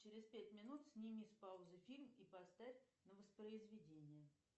через пять минут сними с паузы фильм и поставь на воспроизведение